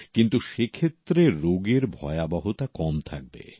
কিন্তু সেক্ষেত্রে রোগের ভয়াবহতা কম থাকবে